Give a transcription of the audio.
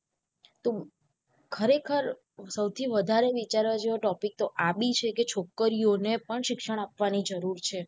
તો ખરેખર સૌથી વધારે વિચારવા જેવું topic તો આંબી છે છોકરીઓ ને પણ શિક્ષણ આપવાની જરૂર છે.